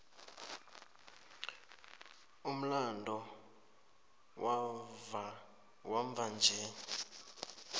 umlando wamva nje